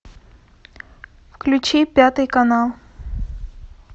включи пятый канал